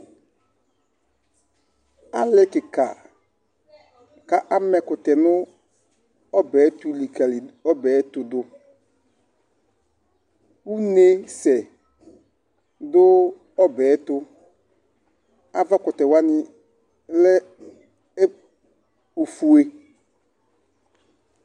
Ali kika, k'amã ɛkutɛ nu ɔbɛ ayi ɛtu likalidu, ɔbɛ ayɛtu du, úne sɛ dú ɔbɛ tu, avakutɛwa ni lɛ ofue